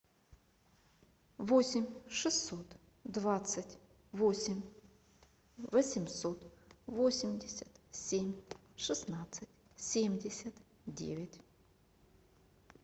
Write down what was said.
восемь шестьсот двадцать восемь восемьсот восемьдесят семь шестнадцать семьдесят девять